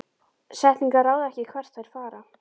Setningar ráða ekki hvert þær fara.